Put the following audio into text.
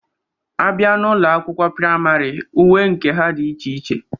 A bịa n'ụlọ akwụkwọ prayịmarị, uwe nke ha dị iche iche.